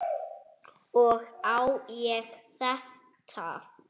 Og á ég þetta?